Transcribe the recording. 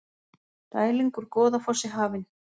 Dæling úr Goðafossi hafin